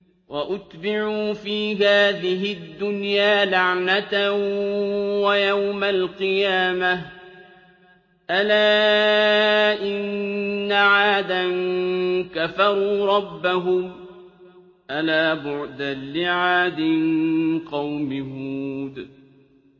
وَأُتْبِعُوا فِي هَٰذِهِ الدُّنْيَا لَعْنَةً وَيَوْمَ الْقِيَامَةِ ۗ أَلَا إِنَّ عَادًا كَفَرُوا رَبَّهُمْ ۗ أَلَا بُعْدًا لِّعَادٍ قَوْمِ هُودٍ